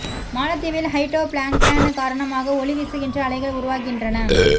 மாலத்தீவில் ஹைடோ ப்லான்க்டன் காரணமாக ஒளி வீசுகின்ற அலைகள் உருவாகின்றன